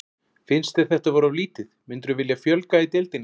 Finnst þér þetta vera of lítið, myndirðu vilja fjölga í deildinni?